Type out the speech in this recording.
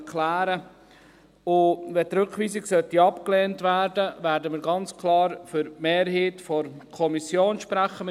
Wenn die Rückweisung abgelehnt werden sollte, werden wir ganz klar für die Mehrheit der Kommission sprechen.